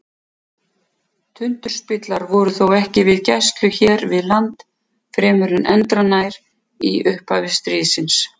Tundurspillar voru þó ekki við gæslu hér við land fremur en endranær í upphafi stríðsins.